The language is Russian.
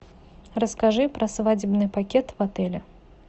расскажи про свадебный пакет в отеле